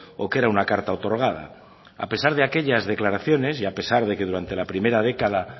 o que era una carta otorgada a pesar de aquellas declaraciones y a pesar de que durante la primera década